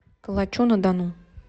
калачу на дону